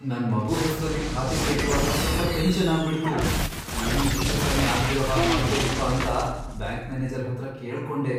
ನನ್ ಮಗು ಹೆಸ್ರಲ್ಲಿ ಖಾತೆ ತೆರ್ಯುವಾಗ ಸ್ವಲ್ಪ ಟೆನ್ಷನ್ ಆಗ್ಬಿಡ್ತು, ಏನೂ ಹೆಚ್ಚೂಕಮ್ಮಿ ಆಗ್ದಿರೋ ಹಾಗ್ ಮಾಡ್ಕೊಡೀಪ್ಪ ಅಂತ ಬ್ಯಾಂಕ್ ಮ್ಯಾನೇಜರ್ ಹತ್ರ ಕೇಳ್ಕೊಂಡೆ.